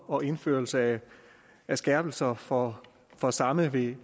og indførelse af skærpelser for for samme ved